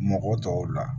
Mɔgɔ tɔw la